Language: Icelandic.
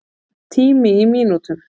Tími í mínútum.